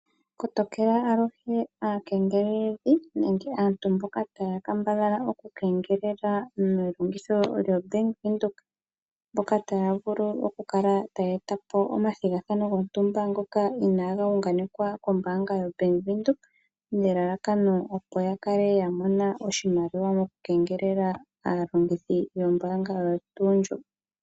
Kotokela aluhe aakengeleldhi nenge aantu mboka taya kambadhala okungelela nelongitho lyoBank Windhoek, mboka taya vulu kakala taya eta po omathigathano gontumba ngoka inaaga unganekwa kombaanga yoBank Windhoek, nelalakano opo ya kale ya mona oshimaliwa mokukengelela aalongithi yombaanga oyo tuu ndjoka.